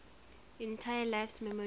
entire life's memories